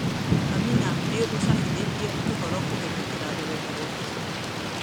Amina nĩ úcabithitie ũhorokũhītũkīra rũrenda rũa facebook: